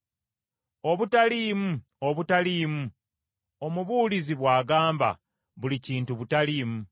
Obutaliimu! Obutaliimu! Omubuulizi bw’agamba, “Buli kintu butaliimu.”